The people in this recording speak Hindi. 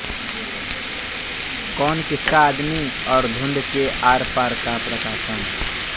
कौन किसका आदमी और धुंध के आर पार का प्रकाशन